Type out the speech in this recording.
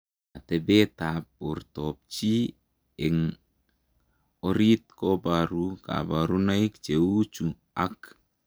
Ateepeet ap portoop chii eng oriit koparuu kabarunoik cheuu chuu ak